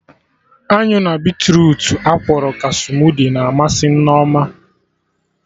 Anyụ na beetrutu akwọrọ ka smudi na amasị Nneoma